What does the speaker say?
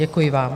Děkuji vám.